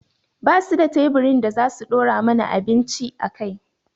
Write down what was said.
Ba su da teburin da za su ɗora mana abinci a kai